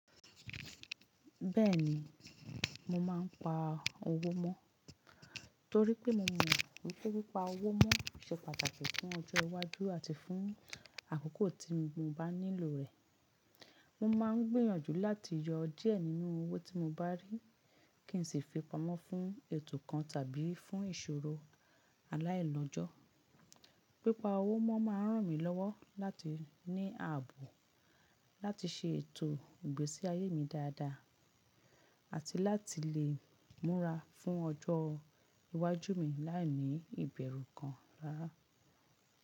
Bẹ́ẹ̀ni, mo máa ń pa owó mọ́. Torí pé mo mọ̀ wípé pípa owó mọ́ ṣe pàtàkì fún ọjọ́ iwájú àti fún àkókò tí mo bá nílò rẹ̀. Mo máa ń gbìyànjú láti yọ díẹ̀ nínú owó tí mo bá rí kí n sì fi pamọ́ fún ètò kan tàbí fún ìṣòro aláìlọ́jọ́. Pípa owó mọ́ máa ń ràn mí lọ́wọ́ láti ní ààbò láti ṣe ètò ìgbésí ayé mi dáadáa àti láti lè múra fún ọjọ́ iwájú mi láìní ìbẹ̀rù kan rárá.